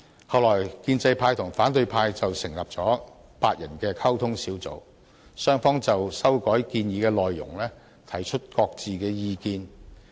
後來建制派和反對派成立了8人溝通小組，雙方就修改建議的內容提出各自的意見。